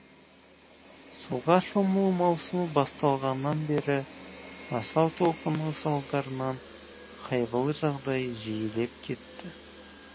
суға шомылу маусымы басталғаннан бері асау толқынның салдарынан қайғылы жағдай жиілеп кетті